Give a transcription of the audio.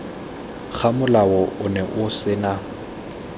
ga molao ono o sena